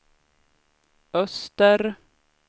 öster